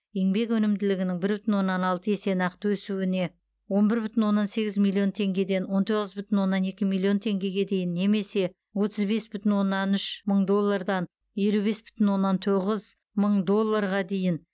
еңбек өнімділігінің бір бүтін оннан екі есе нақты өсуіне он бүр бүтін оннан сегіз миллион теңгеден он тоғыз бүтін оннан екі миллион теңгеге дейін немесе отыз бес бүтін оннан үш мың доллардан елу бес бүтін оннан тоғыз мың долларға дейін